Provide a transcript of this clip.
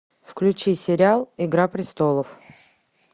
включи сериал игра престолов